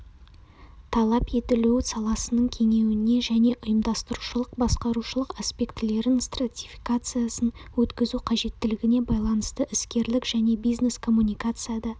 талап етілу саласының кеңейуіне және ұйымдастырушылық-басқарушылық аспектілерінің стратификациясын өткізу қажеттілігіне байланысты іскерлік және бизнес коммуникацияда